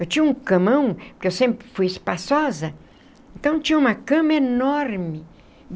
Eu tinha um camão, porque eu sempre fui espaçosa, então tinha uma cama enorme.